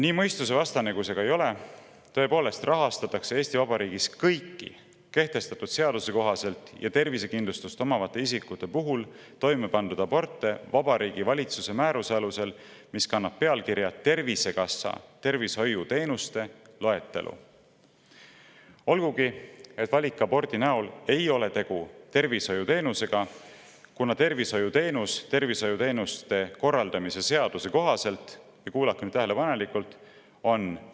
Nii mõistusevastane kui see ka ei ole, rahastatakse Eesti Vabariigis kõiki kehtiva seaduse kohaselt toimepandud aborte tervisekindlustust omavate isikute puhul Vabariigi Valitsuse määruse alusel, mis kannab pealkirja "Tervisekassa tervishoiuteenuste loetelu", olgugi et valikabordi näol ei ole tegu tervishoiuteenusega, kuna tervishoiuteenuste korraldamise seaduse kohaselt on tervishoiuteenus – kuulake nüüd tähelepanelikult!